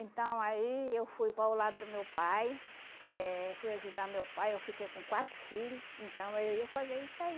Então aí eu fui para o lado do meu pai, eh fui ajudar meu pai, eu fiquei com quatro filhos, então eu ia fazer isso aí.